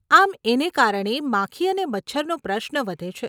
આમ એને કારણે, માખી અને મચ્છરનો પ્રશ્ન વધે છે.